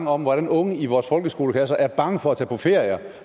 om hvordan unge i vores folkeskoleklasser er bange for at tage på ferie